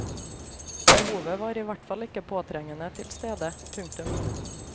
Behovet var i hvert fall ikke påtrengende tilstede. punktum